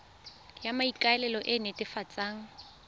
ya maikano e e netefatsang